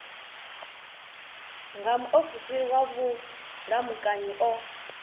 nga muofisiri wa vhulamukanyi o